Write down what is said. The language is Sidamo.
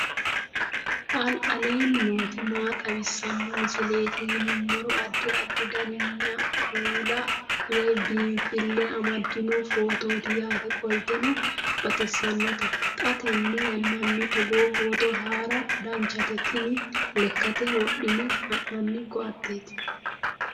aleenni nooti maa xawisanno misileeti yinummoro addi addi dananna kuula woy biinfille amaddino footooti yaate qoltenno baxissannote xa tenne yannanni togoo footo haara danchate tini lekkate wodhine ha'nanni koateeti